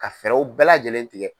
Ka fɛɛrɛw bɛɛ lajɛlen tigɛ.